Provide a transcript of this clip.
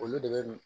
Olu de bɛ